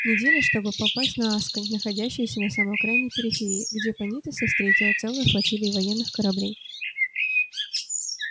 неделя чтобы попасть на асконь находящуюся на самой окраине периферии где пониетса встретила целая флотилия военных кораблей